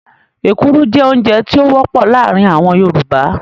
Ekuru jẹ́ oúnjẹ tí ó wọ́pọ̀ láàrin àwọn Yorùbá.